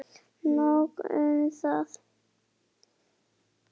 Nóg um það.